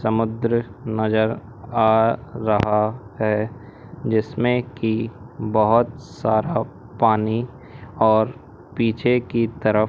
समुद्र नजर आ रहा है जिसमें की बहुत साफ पानी और पीछे की तरफ--